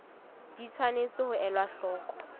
di tshwanetse ho elwa hloko